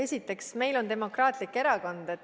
Esiteks, meil on demokraatlik erakond.